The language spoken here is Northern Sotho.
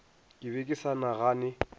ke be ke sa nagane